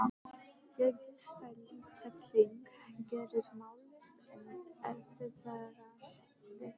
Gengisfelling gerir málið enn erfiðara viðfangs.